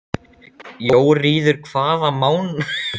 Jóríður, hvaða mánaðardagur er í dag?